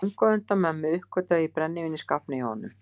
Löngu á undan mömmu uppgötvaði ég brennivín í skápnum hjá honum.